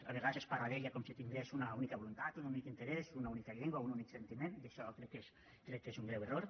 a vegades es parla d’ella com si tingués una única voluntat un únic interès una única llengua un únic sentiment i això crec que és un greu error